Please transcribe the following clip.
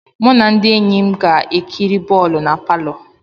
Mụ na ndị enyi m ga-ekiri bọọlụ na palọ.